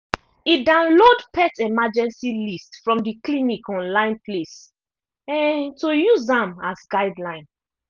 e download pet emergency list from the clinic online place um to use am as guideline